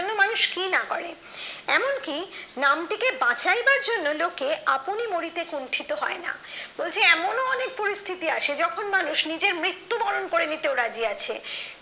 মানুষ কি না করে এমনকি নাম থেকে বাছাইবার জন্য লোকে আপনি মরিতে কুঞ্চিত হয় না এমনও অনেক পরিস্থিতি আসে যখন মানুষ নিজের মৃত্যুবরণ করে নিতেও রাজি আছে